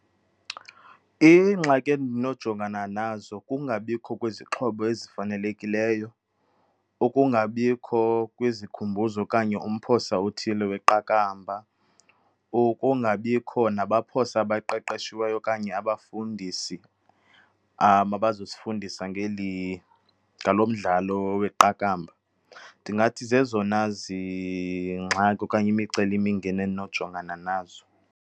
Iingxaki endinojongana nazo kungabikho kwezixhobo ezifanelekileyo, ukungabikho kwezikhumbuzo okanye umphosa othile weqakamba, ukungabikho nabaphosa abaqeqeshiweyo okanye abafundisi amabazosifundisa ngeli, ngalo mdlalo weqakamba. Ndingathi zezona zingxaki okanye imicelimingeni endinojongana nazo.